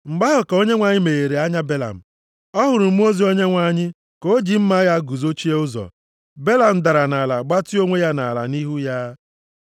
Mgbe ahụ ka Onyenwe anyị meghere anya Belam. Ọ hụrụ mmụọ ozi Onyenwe anyị ka o ji mma agha ya guzochie ụzọ. Belam dara nʼala, gbatịa onwe ya nʼala nʼihu ya.